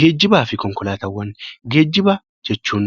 Geejjibaa fi konkolaataawwan Geejjiba jechuun